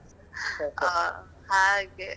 ಓಹ್ ಹಾಗೆ.